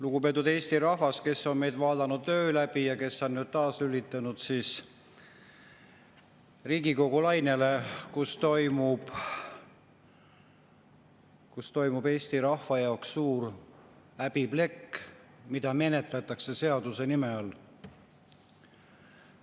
Lugupeetud Eesti rahvas, kes on meid vaadanud öö läbi ja kes on nüüd taas lülitunud Riigikogu lainele, sest Riigikogus menetletakse Eesti rahva suurt häbiplekki, mida menetletakse seaduse nime all.